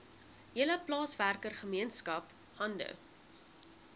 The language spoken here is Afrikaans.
hele plaaswerkergemeenskap hande